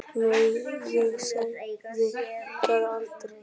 Nei, ég sagði það aldrei.